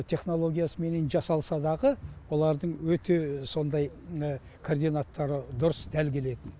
технологиясыменен жасалса дағы олардың өте сондай координаттары дұрыс дәл келетін